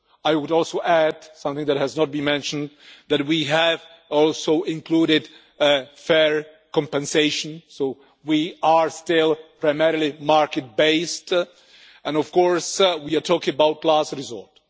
I would also add something that has not been mentioned that we have also included fair compensation, so we are still primarily market-based, and we are of course talking about last resort.